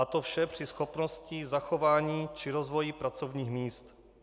A to vše při schopnosti zachování či rozvoji pracovních míst.